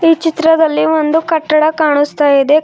ಈ ಚಿತ್ರದಲ್ಲಿ ಒಂದು ಕಟ್ಟಡ ಕಾಣಿಸ್ತಾ ಇದೆ.